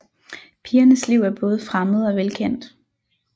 Pigernes liv er både fremmed og velkendt